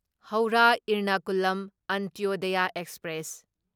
Howrah Ernakulam Antyodaya express